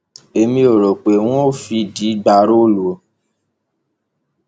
èmi ò rò pé wọn ń fìdí gbà róòlù o